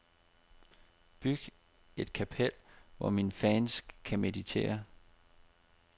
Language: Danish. Byg et kapel, hvor mine fans kan meditere.